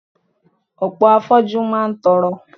Ọ̀pọ̀ afoju máa ń tọrọ.